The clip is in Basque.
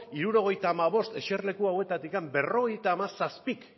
hirurogeita hamabost eserleku hautatik berrogeita hamazazpik